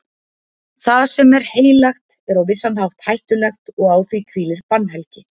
Það sem er heilagt er á vissan hátt hættulegt og á því hvílir bannhelgi.